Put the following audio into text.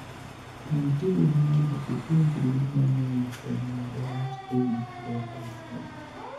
Rang tiponi mondo ipuonjri mang'eny kuom ng'ado wach e wii luoko nyarogno.